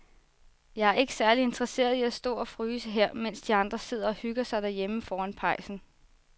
Jeg er ikke særlig interesseret i at stå og fryse her, mens de andre sidder og hygger sig derhjemme foran pejsen.